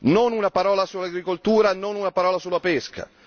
Non una parola sull'agricoltura, non una parola sulla pesca.